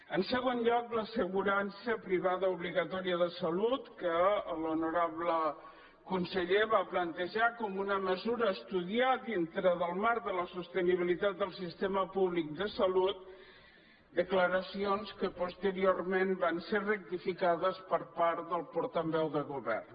en segon lloc l’assegurança privada obligatòria de salut que l’honorable conseller va plantejar com una mesura a estudiar dintre del marc de la sostenibilitat del sistema públic de salut declaracions que posteri·orment van ser rectificades per part del portaveu del govern